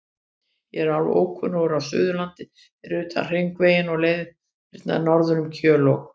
Ég er alveg ókunnugur á Suðurlandi fyrir utan Hringveginn og leiðirnar norður um Kjöl og